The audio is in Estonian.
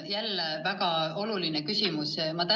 Jälle väga oluline küsimus!